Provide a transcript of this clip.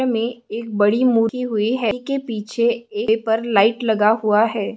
मे एक बड़ी मूर्ति हुई है के पीछे ऐ पर लाइट लगा हुआ है।